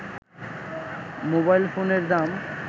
mobile ফোনের দাম